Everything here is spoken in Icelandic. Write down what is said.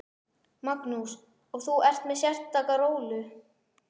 Magnús: Og þú ert með sérstaka rólu?